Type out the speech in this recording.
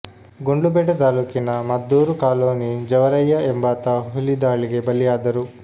ಗುಂಡ್ಲುಪೇಟೆ ತಾಲ್ಲೂಕಿನ ಮದ್ದೂರು ಕಾಲೊನಿ ಜವರಯ್ಯ ಎಂಬಾತ ಹುಲಿ ದಾಳಿಗೆ ಬಲಿಯಾದರು